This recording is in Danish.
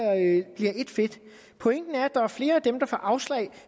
et fedt pointen er at der er flere af dem der får afslag